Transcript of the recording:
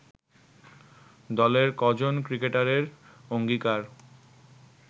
দলের কজন ক্রিকেটারের অঙ্গীকার